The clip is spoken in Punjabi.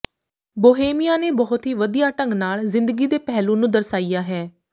ਬੋਹੇਮੀਆ ਨੇ ਬੁਹਤ ਹੀ ਵਧੀਆ ਢੰਗ ਨਾਲ ਜ਼ਿੰਦਗੀ ਦੇ ਪਹਿਲੂ ਨੂੰ ਦਰਸਾਇਆ ਹੈ